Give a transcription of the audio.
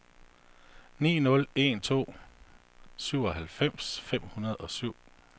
ni nul en to syvoghalvfems fem hundrede og syv